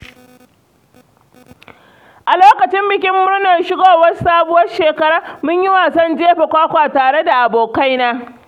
A lokacin bikin murnar shigowar sabuwar shekara, mun yi wasan jefa kwakwa tare da abokaina.